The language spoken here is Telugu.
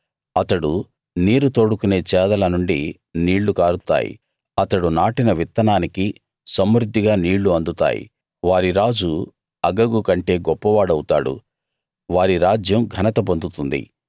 అతడు నీరు తోడుకునే చేదల నుండి నీళ్ళు కారుతాయి అతడు నాటిన విత్తనానికి సమృద్ధిగా నీళ్ళు అందుతాయి వారి రాజు అగగు కంటే గొప్పవాడౌతాడు వారి రాజ్యం ఘనత పొందుతుంది